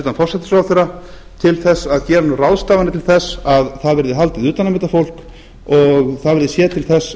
hæstvirtur forsætisráðherra til að gera ráðstafanir til þess að það verði haldið utan um þetta fólk og það verði séð til þess